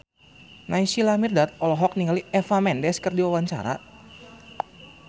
Naysila Mirdad olohok ningali Eva Mendes keur diwawancara